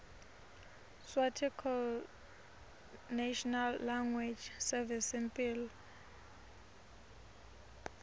sswarticlenational language servicesimphilo